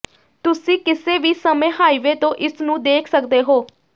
ਤੁਸੀਂ ਕਿਸੇ ਵੀ ਸਮੇਂ ਹਾਈਵੇ ਤੋਂ ਇਸ ਨੂੰ ਦੇਖ ਸਕਦੇ ਹੋ